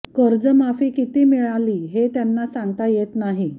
कर्जमाफी किती मिळाली हे त्यांना सांगता येत नाही